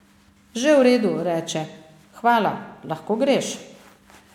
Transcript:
Že v redu, reče, hvala, lahko greš.